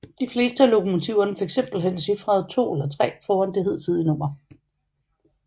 De fleste af lokomotiverne fik simpelthen cifferet 2 eller 3 foran det hidtidige nummer